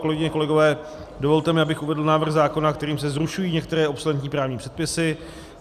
Kolegyně, kolegové, dovolte mi, abych uvedl návrh zákona, kterým se zrušují některé obsoletní právní předpisy.